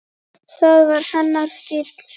Það var hennar stíll.